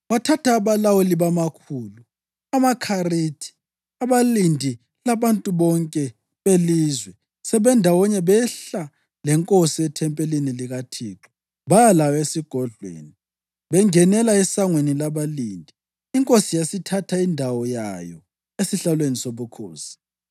Wathatha abalawuli bamakhulu, amaKharithi, abalindi labantu bonke belizwe, sebendawonye behla lenkosi ethempelini likaThixo baya layo esigodlweni, bengenela esangweni labalindi. Inkosi yasithatha indawo yayo esihlalweni sobukhosi,